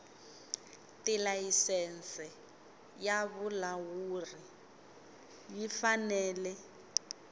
tilayisense ya vulawuli yi fanele